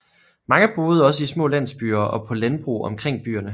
Mange boede også i små landsbyer og på landbrug omkring byerne